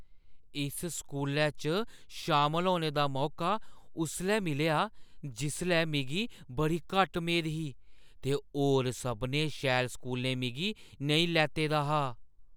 इस स्कूलै च शामल होने दा मौका उसलै मिलेआ जिसलै मिगी बड़ी घट्ट मेद ही ते होर सभनें शैल स्कूलें मिगी नेईं लैते दा हा।